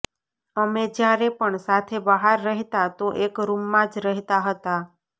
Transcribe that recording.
અમે જ્યારે પણ સાથે બહાર રહેતા તો એક રૂમમાં જ રહેતા હતા